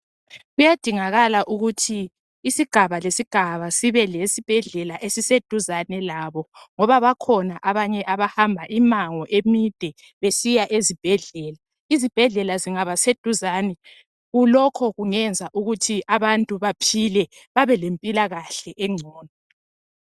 Kuyadingakala ukuthi isigaba lesigaba sibe lesibhedlela esiseduzane labo. Ngoba bakhona abanye abahamba imango emide besiya ezibhedlela. Izebhedlela zingaba seduzane, lokho kungenza ukuthi abantu baphile, babe lempilakahle engcono.